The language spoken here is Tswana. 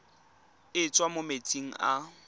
e tswang mo metsing a